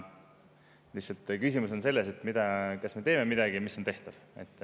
Lihtsalt küsimus on selles, kas me teeme midagi, mis on tehtav.